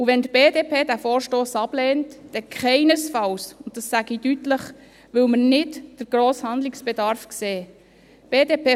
Wenn die BDP diesen Vorstoss ablehnt, dann keinesfalls – und dies sage ich deutlich –, weil wir den grossen Handlungsbedarf nicht sehen würden.